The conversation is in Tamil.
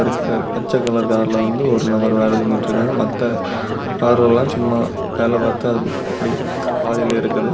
இந்த பச்சை கலர் கார்ல வந்து ஒரு நபர் வேலை செஞ்சிட்டு இருக்காங்க மத்த கார்ல எல்லாம் சும்மா வேலை பார்த்தா அப்படி ச் பாதில இருக்குது.